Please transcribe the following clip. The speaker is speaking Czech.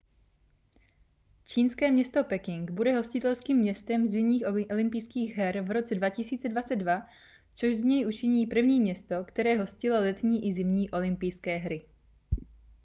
čínské město peking bude hostitelským městem zimních olympijských her v roce 2022 což z něj učiní první město které hostilo letní i zimní olympijské hry